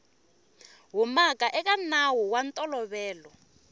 humaka eka nawu wa ntolovelo